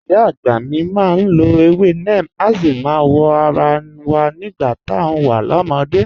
Ìyá àgbà mi máa ń lọ ewé neem, a sì máa ń wọ ara wa nígbà tá a wà lọ́mọdé